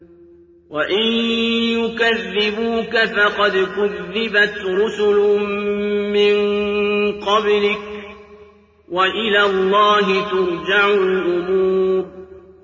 وَإِن يُكَذِّبُوكَ فَقَدْ كُذِّبَتْ رُسُلٌ مِّن قَبْلِكَ ۚ وَإِلَى اللَّهِ تُرْجَعُ الْأُمُورُ